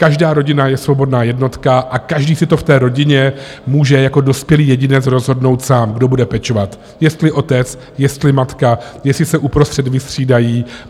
Každá rodina je svobodná jednotka a každý si to v té rodině může jako dospělý jedinec rozhodnout sám, kdo bude pečovat, jestli otec, jestli matka, jestli se uprostřed vystřídají.